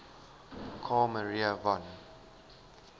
carl maria von